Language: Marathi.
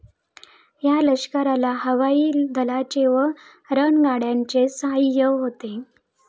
या लष्कराला हवाई दलाचे व रणगाड्यांचे सहाय्य होते.